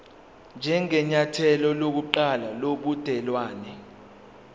njengenyathelo lokuqala lobudelwane